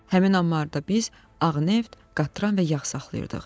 Həmin ambarda biz ağ neft, qatran və yağ saxlayırdıq.